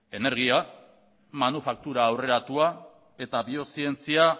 energia manufaktura aurreratua eta bio zientzia